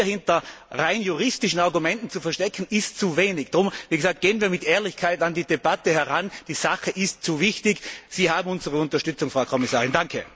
Sich hier hinter rein juristischen Argumenten zu verstecken, ist zu wenig. Gehen wir mit Ehrlichkeit an die Debatte heran, die Sache ist zu wichtig. Sie haben unsere Unterstützung, Frau Kommissarin.